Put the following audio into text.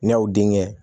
N'i y'aw denkɛ